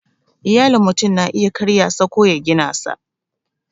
Iyalin mutum na iya karya sa ko ya gina sa